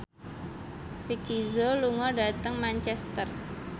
Vicki Zao lunga dhateng Manchester